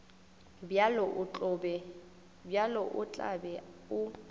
bjalo o tla be o